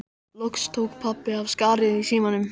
Loks tók pabbi af skarið í símanum.